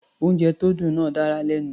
Oúnjẹ tó dùn náà dára lẹ́nu.